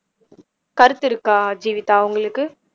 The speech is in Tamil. கருத்து இருக்கா ஜீவிதா உங்களுக்கு